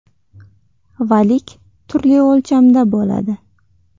Valik turli o‘lchamda bo‘ladi.